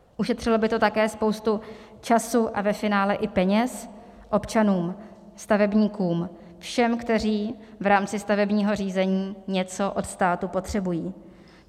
Ušetřilo by to také spoustu času a ve finále i peněz občanům, stavebníkům, všem, kteří v rámci stavebního řízení něco od státu potřebují.